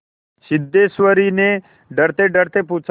सिद्धेश्वर ने डरतेडरते पूछा